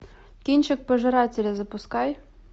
кинчик пожиратели запускай